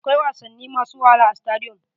Akwai wasanni masu wahala a stadiyom.